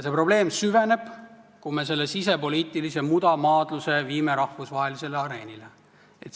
See probleem süveneb, kui me selle sisepoliitilise mudamaadluse viime rahvusvahelisele areenile.